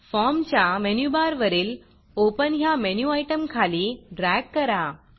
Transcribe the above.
फॉर्मच्या मेनूबार वरील ओपन ह्या मेनू आयटमखाली ड्रॅग करा